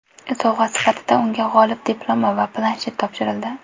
Sovg‘a sifatida unga g‘olib diplomi va planshet topshirildi.